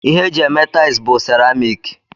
Ihe eji eme tiles bu ceramiki.